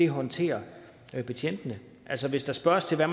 håndterer betjentene altså hvis der spørges til hvad